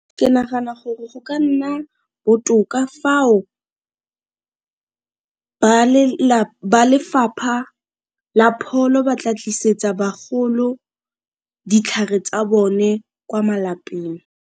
Ke nagana gore go ka nna botoka fao ba lefapha la pholo ba tla tlisetsa bagolo ditlhare tsa bone kwa malapeng.